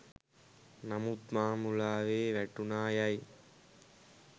නමුත් මා මුලාවේ වැටුනා යයි